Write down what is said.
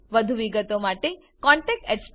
વધુ વિગતો માટે કૃપા કરી contactspoken tutorialorg પર લખો